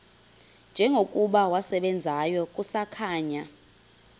njengokuba wasebenzayo kusakhanya